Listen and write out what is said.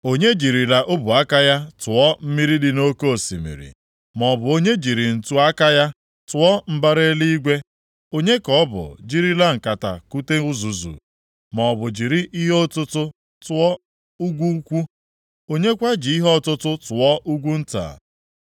Onye jirila ọbụ aka ya tụọ mmiri dị nʼoke osimiri? Maọbụ onye jiri ntu-aka ya tụọ mbara eluigwe? Onye ka ọ bụ jirila nkata kute uzuzu? Maọbụ jiri ihe ọtụtụ tụọ ugwu ukwu? Onye kwa ji ihe ọtụtụ tụọ ugwu nta?